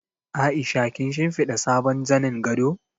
Aisha kin shimfiɗa sabon zanin gado?